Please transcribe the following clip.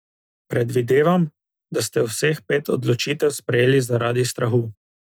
Predvidevam, da ste vseh pet odločitev sprejeli zaradi strahu.